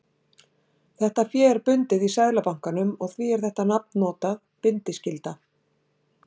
Þetta fé er bundið í Seðlabankanum og því er þetta nafn notað, bindiskylda.